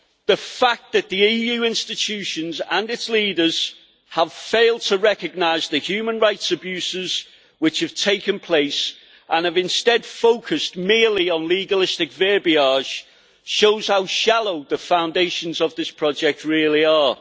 The fact that the EU's institutions and its leaders have failed to recognise the human rights abuses which have taken place and have instead focused merely on legalistic verbiage shows how shallow the foundations of this project really are.